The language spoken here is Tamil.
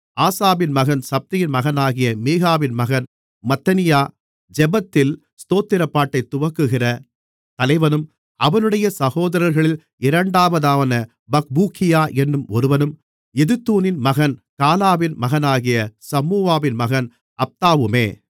ஆசாபின் மகன் சப்தியின் மகனாகிய மீகாவின் மகன் மத்தனியா ஜெபத்தில் ஸ்தோத்திரப்பாட்டைத் துவக்குகிற தலைவனும் அவனுடைய சகோதரர்களில் இரண்டாவதான பக்பூக்கியா என்னும் ஒருவனும் எதுத்தூனின் மகன் காலாவின் மகனாகிய சம்முவாவின் மகன் அப்தாவுமே